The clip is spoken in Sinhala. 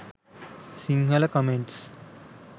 sinhala comments